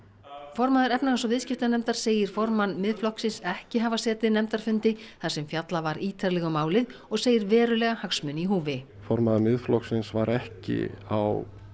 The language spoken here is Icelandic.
formaður efnahags og viðskiptanefndar segir segir formann Miðflokksins ekki hafa setið nefndarfundi þar sem fjallað var ítarlega um málið og segir verulega hagsmuni í húfi formaður Miðflokksins var ekki á